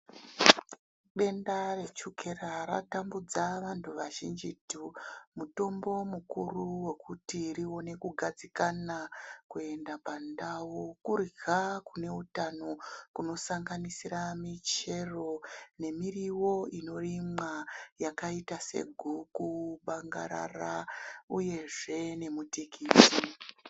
Denda rechukera ratambudza vantu vazhinjitu mutombo mukuru wokuti rione kugadzikana kuenda pandau kurya kune utano kunosanganisira michero nemiriwo yakaita seguku, bangarara uyezve nemutikiti.